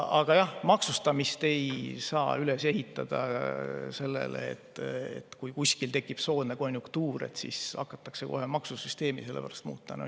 Aga jah, maksustamist ei saa üles ehitada sellele, et kui kuskil tekib soodne konjunktuur, siis hakatakse kohe maksusüsteemi muutma.